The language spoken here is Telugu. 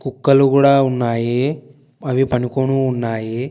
కుక్కలు గూడ ఉన్నాయి అవి పనుకొని ఉన్నాయి.